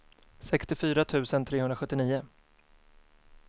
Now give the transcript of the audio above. sextiofyra tusen trehundrasjuttionio